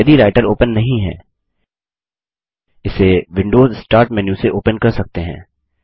यदि writer open नहीं है इसे विंडोज़ स्टार्ट मेन्यू से ओपन कर सकते हैं